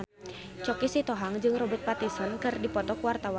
Choky Sitohang jeung Robert Pattinson keur dipoto ku wartawan